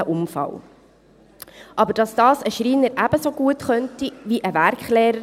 Es ist aber wohl unbestritten, dass dies ein Schreiner ebenso gut könnte wie ein Werklehrer.